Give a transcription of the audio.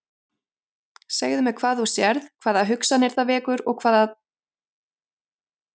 Segðu mér hvað þú sérð, hvaða hugsanir það vekur og hvað þær tákna fyrir þig.